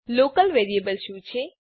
local variable શું છે